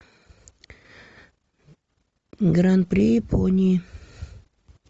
гран при японии